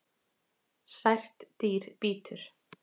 Sært dýr bítur